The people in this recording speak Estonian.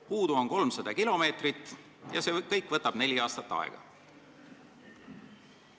Puudu on 300 kilomeetrit ja see kõik võtab neli aastat aega.